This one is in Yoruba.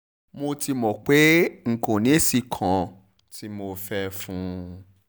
mo ti mọ̀ pé n kò ní èsì kan tí mo fẹ́ẹ́ fún un